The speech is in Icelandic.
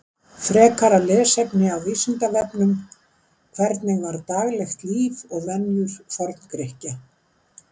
Frekara lesefni á Vísindavefnum: Hvernig var daglegt líf og venjur Forngrikkja?